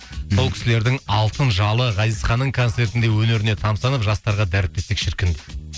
сол кісілердің алтын жалы ғазизханның концертінде өнеріне тамсанып жастарға дәріптесек шіркін дейді